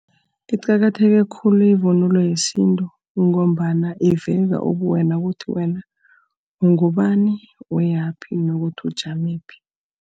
Iqakatheke khulu ivunulo yesintu, ngombana iveza ubuwena ukuthi wena ungubani, uyaphi, nokuthi ujamephi.